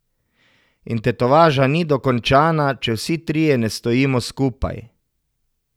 In tetovaža ni dokončana, če vsi trije ne stojimo skupaj.